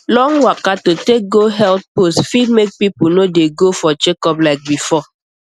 long waka to take go health post fit make people no dey go for checkup like before